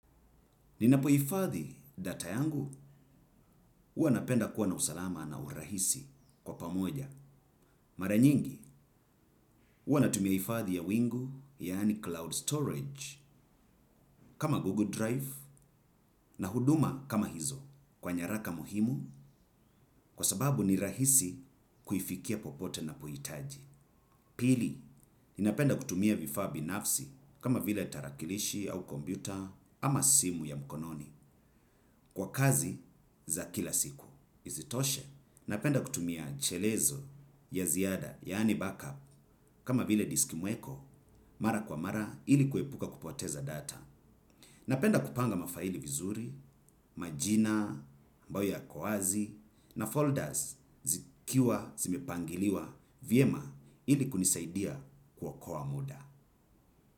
Ninapohifadhi data yangu huwa napenda kuwa na usalama na urahisi kwa pamoja. Mara nyingi huwa natumia hifadhi ya wingu yaani cloud storage kama Google Drive na huduma kama hizo kwa nyaraka muhimu kwa sababu ni rahisi kuifikia popote unapohitaji. Pili ninapenda kutumia vifaa binafsi kama vile tarakilishi au kompyuta ama simu ya mkononi kwa kazi za kila siku isitoshe. Napenda kutumia chelezo ya ziada yaani backup. Kama vile disc mweko mara kwa mara ili kuepuka kupoteza data. Napenda kupanga mafaili vizuri, majina, ambayo yako wazi na folda zikiwa zimepangiliwa vyema ili kunisaidia kuokoa muda.